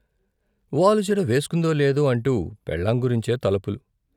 వాలుజడ వేసుకుందో లేదో, అంటూ పెళ్ళాం గురించే తలపులు.